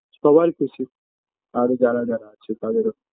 সবার খুশি আরও যারা যারা আছে তাদেরও